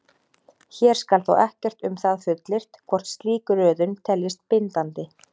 Hér skal þó ekkert um það fullyrt hvort slík röðun teljist bindandi.